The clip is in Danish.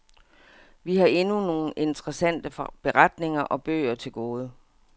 Vi har endnu nogle interessante beretninger og bøger til gode.